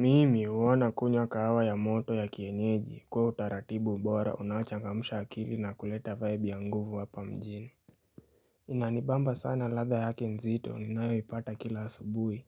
Mimi huwona kunywa kahawa ya moto ya kienyeji kwa utaratibu mbora unachangamusha akili na kuleta vibe ya nguvu hapa mjini Inanibamba sana ladha yaki nzito ni nayo ipata kila asubuhi